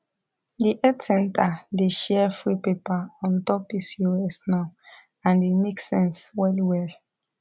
the health center dey share free paper on top pcos now and e make sense well well